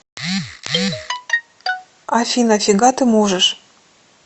афина фига ты можешь